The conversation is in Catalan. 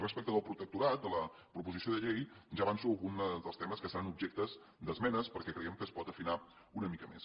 respecte del protectorat de la proposició de llei ja avanço algun dels temes que seran objecte d’esmenes perquè creiem que es pot afinar una mica més